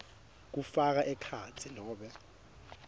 kufaka ekhatsi nobe